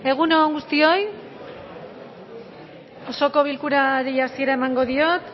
egun on guztioi osoko bilkurari hasiera emango diot